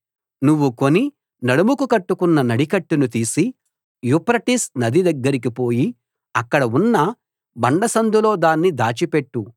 నువ్వు కొని నడుముకు కట్టుకున్న నడికట్టును తీసి యూఫ్రటీసు నది దగ్గరికి పోయి అక్కడ ఉన్న బండ సందులో దాన్ని దాచిపెట్టు